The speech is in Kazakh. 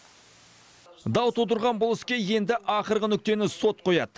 дау тудырған бұл іске енді ақырғы нүктені сот қояды